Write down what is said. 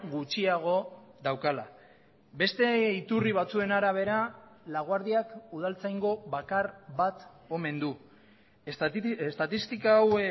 gutxiago daukala beste iturri batzuen arabera laguardiak udaltzaingo bakar bat omen du estatistika hau